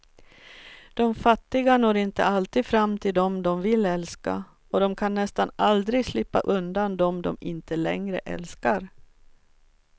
De fattiga når inte alltid fram till dem de vill älska, och de kan nästan aldrig slippa undan dem de inte längre älskar.